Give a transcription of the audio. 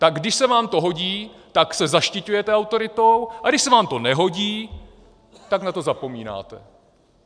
Tak když se vám to hodí, tak se zaštiťujete autoritou, a když se vám to nehodí, tak na to zapomínáte.